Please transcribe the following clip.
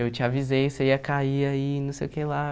Eu te avisei, você ia cair aí, não sei o que lá.